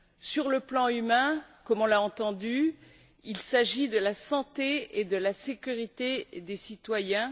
Sur le plan humain, comme on l'a entendu, il s'agit de la santé et de la sécurité des citoyens.